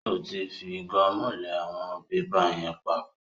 Ó tí fi gọ́mù lẹ àwọn pépà yẹn pap.